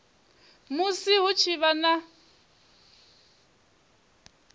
musi hu tshi vha na